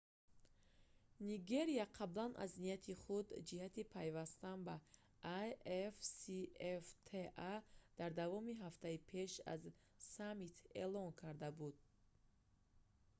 нигерия қаблан аз нияти худ ҷиҳати пайвастан ба afcfta дар давоми ҳафтаи пеш аз саммит эълом карда буд